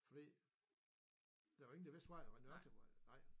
Fordi der var ingen der vidste hvad der var den rigtig vej nej